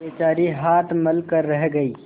बेचारी हाथ मल कर रह गयी